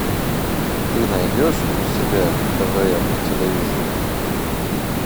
ты найдешь у себя твм на телевизоре